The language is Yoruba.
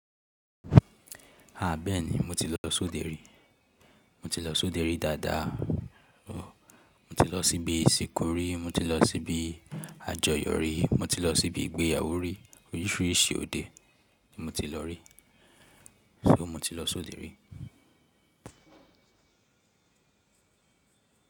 Àbẹ́ẹ̀nì mo ti lọ sóde rí, mo ti lọ sóde rí dáadáa. Mo ti lọ síbi ìsìnkú rí, mo ti lọ síbi àjọyọ̀ rí, mo ti lọ síbi ìgbéyàwó rí, oríṣiríṣi òde ni mo ti lọ rí. So mo ti lọ sóde rí.